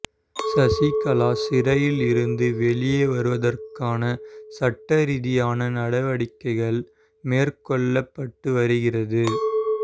சசிகலா சிறையில் இருந்து வெளியே வருவதற்காக சட்ட ரீதியான நடவடிக்கைகள் மேற்கொள்ளப்பட்டு வருகிறது